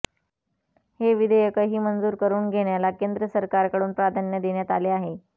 हे विधेयकही मंजूर करून घेण्याला केंद्र सरकारकडून प्राधान्य देण्यात आले आहे